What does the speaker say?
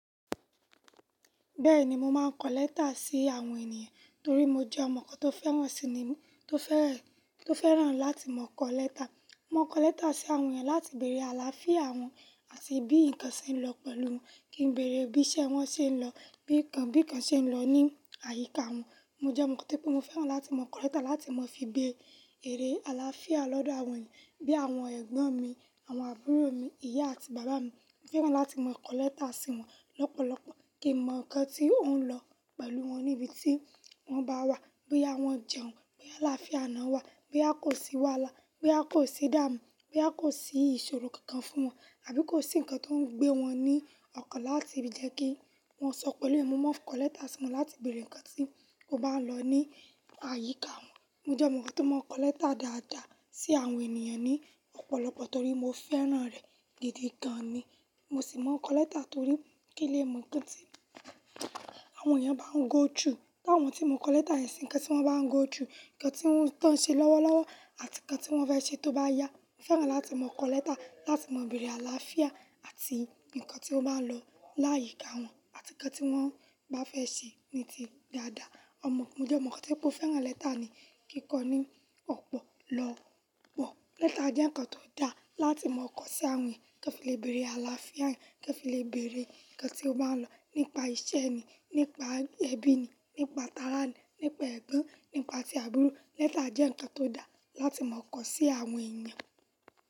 Bẹ́ẹ̀ni mo máa ń kọ lẹ́tà sí àwọn ènìyàn torí mo jẹ́ ọmọ kọ́ tó fẹ́ràn sí ní, tó fẹ́ràn, tó fẹ́ràn láti mọ kọ lẹ́tà. Mo máa ń kọ lẹ́tà sí àwọn èèyàn láti bèrè àlàáfíà wọ́n àti bí nǹkan ṣe ń lọ pẹ̀lú wọn, kí n bèrè bí iṣẹ́ wọn ṣe ń lọ, bí nǹkan, bí nǹkan ṣe ń lọ ní àyíká wọ́n. Mo jẹ́ ọmọ tí mo fẹ́ràn láti mọ kọ lẹ́tà láti mọ fi béèrè àlàáfíà lọ́dọ̀ àwọn èèyàn bí i àwọn ẹ̀gbọ́n mi, àwọn àbúrò mi, ìyá àti bàbá mi. Mo fẹ́ràn láti mọ kọ lẹ́tà sí wọ́n lọ́pọ̀lọpọ̀ kí mọ nǹkan tí ó ń lọ pẹ̀lú wọn níbi tí wọ́n bá wà. Bí à wọ́n jẹun, bí àlàáfíà àná wà, bí a kò sì wàhálà, bí a kò sì dààmú, bí a kò sí ìṣòro kankan fún wọn àbí kò sí nǹkan tó ń gbé wọn ní ọkàn láti fi jẹ́ kí wọ́n sọ pẹ̀lú èmi. Mo máa ń kọ lẹ́tà sí wọn láti bèrè nǹkan tí ó bá ń lọ ní àyíká wọ́n. Mo jẹ́ ọmọ kan máa ń kọ lẹ́tà dáadáa sí àwọn ènìyàn ní ọ̀pọ̀lọpọ̀ torí mo fẹ́ràn rẹ̀ gidi gan ni. Mo sì máa ń kọ lẹ́tà torí kí lè mọ ǹkan tí àwọn èèyàn bá ń go through. Táwọn tí mo kọ lẹ́tà ẹ sí, ǹkan tí wọ́n bá ń go through, ǹkan tí wọ́n ń tàn ṣe lọ́wọ́lọ́wọ́ àti ǹkan tí wọ́n fẹ́ ṣe tó bá yá. Mo fẹ́ràn láti mọ kọ lẹ́tà láti mọ bèrè àlàáfíà àti ǹkan tí ó bá ń lọ láyìíká wọ́n àti ǹkan tí wọ́n bá fẹ́ ṣe ní ti dáadáa. Ọmọ, mo jẹ́ ọmọ kọ́ tí mo fẹ́ràn lẹ́tà ni, kí kọ ní ọ̀pọ̀lọpọ̀. Lẹ́tà jẹ́ ǹkan tó da láti mọ kọ sí àwọn èèyàn kí o lè bèrè àlàáfíà rẹ̀, kí o lè bèrè ǹkan tí ó bá ń lọ nípa iṣẹ́ ni, nípa ẹbí ni, nípa tálátà ni, nípa ẹ̀gbọ́n, nípa tí àbúrò. Lẹ́tà jẹ́ ǹkan tó da láti mọ kọ sí àwọn èèyàn.